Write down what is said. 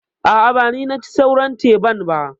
A'a, ba ni naci sauran teban ba.